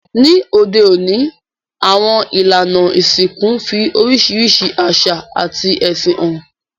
Ní òde ọ̀ní, àwon ìlànà ìsìnkú n fi orísìrísi àsà àti ẹ̀sìn han